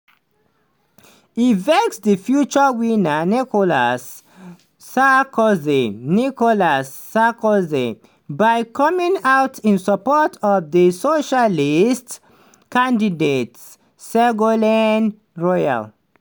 e vex di future winner nicolas sarkozy nicolas sarkozy by coming out in support of di socialist candidate ségolène royal.